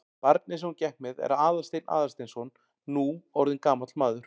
Barnið sem hún gekk með er Aðalsteinn Aðalsteinsson, nú orðinn gamall maður.